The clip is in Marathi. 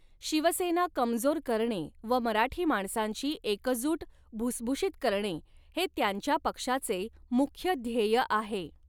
शिवसेना कमजोर करणे व मराठी माणसांची एकजूट भुसभुशीत करणे हे त्यांच्या पक्षाचे मुख्य ध्येय आहे.